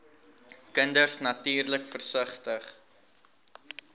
kinders natuurlik versigtig